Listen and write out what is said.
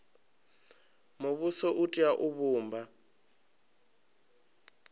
muvhuso u tea u vhumba